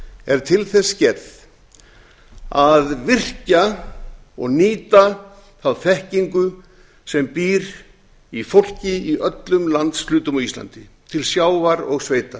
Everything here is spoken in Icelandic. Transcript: er til þess gerð að virkja og nýta þá þekkingu sem býr í fólki í öllum landshlutum á íslandi til sjávar og sveita